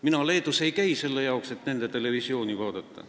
Mina Leedus ei käi selle jaoks, et nende televisiooni vaadata.